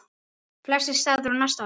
Fleiri staðir á næsta ári?